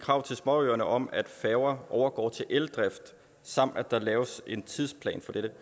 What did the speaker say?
krav til småøerne om at færger overgår til eldrift samt at der laves en tidsplan for dette